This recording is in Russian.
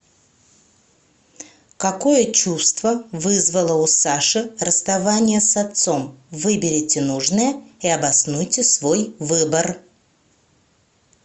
какое чувство вызвало у саши расставание с отцом выберите нужное и обоснуйте свой выбор